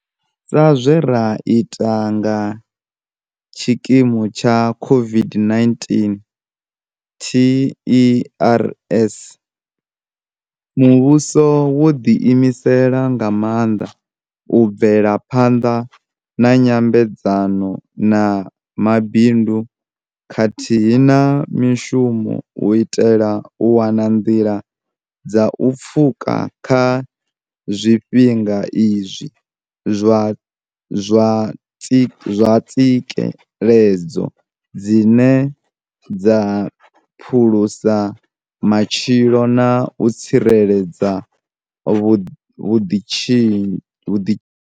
Sa zwe ra ita nga tshikimu tsha COVID-19 TERS, muvhuso wo ḓiimisela nga maanḓa u bvela phanḓa na nyambedzano na mabindu khathihi na mishumo u itela u wana nḓila dza u pfuka kha zwifhinga izwi zwa tsikeledzo dzine dza phulusa matshilo na u tsireledza vhuḓitshidzi.